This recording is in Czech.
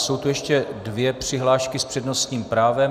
Jsou tu ještě dvě přihlášky s přednostním právem.